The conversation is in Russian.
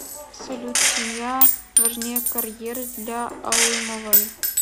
салют семья важнее карьеры для алымовой